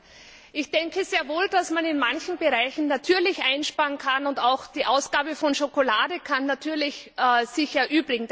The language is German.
Ich denke sehr wohl, dass man in manchen Bereichen natürlich einsparen kann, und auch die Ausgabe von Schokolade kann sich natürlich erübrigen.